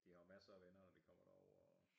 De har jo masser af venner når de kommer derover og